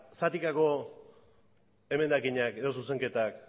zatikako emendakinak edo zuzenketak